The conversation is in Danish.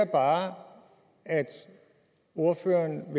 bare at ordføreren